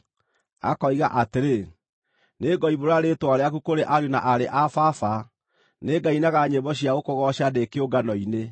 Akoiga atĩrĩ, “Nĩngoimbũra rĩĩtwa rĩaku kũrĩ ariũ na aarĩ a Baba; nĩngainaga nyĩmbo cia gũkũgooca ndĩ kĩũngano-inĩ.”